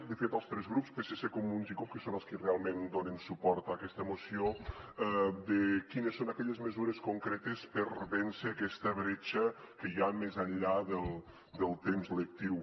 de fet els tres grups psc comuns i cup que són els qui realment donen suport a aquesta moció de quines són aquelles mesures concretes per a vèncer aquesta bretxa que hi ha més enllà del temps lectiu